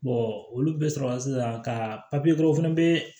olu bɛɛ sɔrɔ la sisan ka papiye dɔrɔn fɛnɛ be